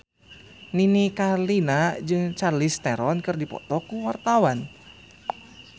Nini Carlina jeung Charlize Theron keur dipoto ku wartawan